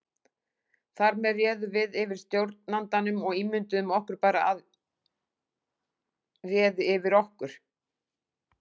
Þar með réðum við yfir stjórnandanum og ímynduðum okkur bara að réði yfir okkur.